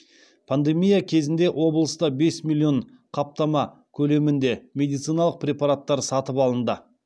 пандемия кезінде облыста бес миллион қаптама көлемінде медициналық препараттар сатып алынды